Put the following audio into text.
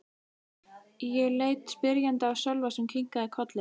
Ég leit spyrjandi á Sölva sem kinkaði kolli.